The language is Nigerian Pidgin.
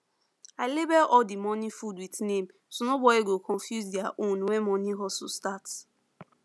i label all the morning food with name so nobody go confuse their own when morning hustle start